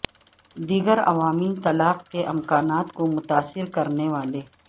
دیگر عوامل طلاق کے امکانات کو متاثر کرنے والے